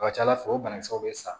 A ka ca ala fɛ o banakisɛw bɛ sa